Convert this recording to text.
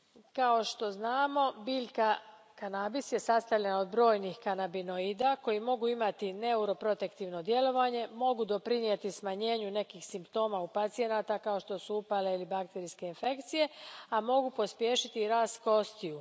Kao što znamo, biljka kanabis sastavljena je od brojnih kanabionida koji mogu imati neuroprotektivno djelovanje, mogu doprinijeti smanjenju nekih simptoma u pacijenata kao što su upale ili bakterijske infekcije, a mogu pospješiti i rast kostiju.